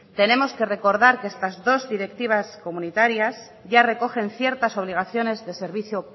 tenemos que recordar que estas dos directivas comunitarias ya recogen ciertas obligaciones de servicio